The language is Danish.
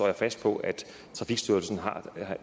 jeg fast på at